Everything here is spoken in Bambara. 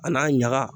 A n'a ɲaga